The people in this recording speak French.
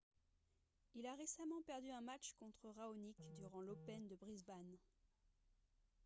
il a récemment perdu un match contre raonic durant l'open de brisbane